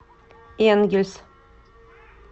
энгельс